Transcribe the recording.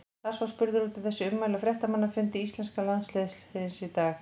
Lars var spurður út í þessi ummæli á fréttamannafundi íslenska landsliðsins í dag.